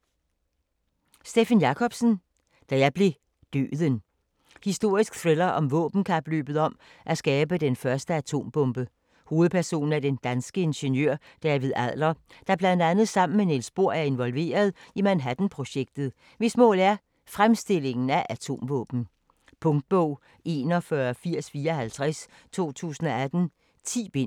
Jacobsen, Steffen: Da blev jeg Døden Historisk thriller om våbenkapløbet om at skabe den første atombombe. Hovedperson er den danske ingeniør David Adler, der bl.a. sammen med Niels Bohr er involveret i Manhattan-projektet, hvis mål er fremstillingen af atomvåben. Punktbog 418054 2018. 10 bind.